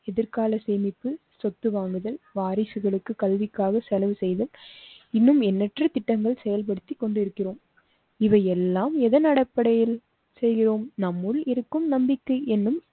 எதிர்கால சேமிப்பு, சொத்து வாங்குதல், வாரிசுகளுக்கு கல்விக்காக செலவு செய்து இன்னும் எண்ணற்ற திட்டங்கள் செயல்படுத்தி கொண்டு இருக்கிறோம். இவை எல்லாம் எதன் அடிப்படையில் செய்கிறோம். நம்முள் இருக்கும் நம்பிக்கை என்னும்